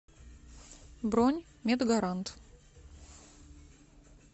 бронь медгарант